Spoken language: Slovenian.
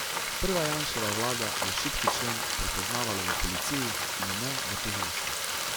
Prva Janševa vlada je šibki člen prepoznavala v policiji, in ne v tožilstvu.